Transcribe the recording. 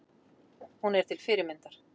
Hún er til fyrirmyndar.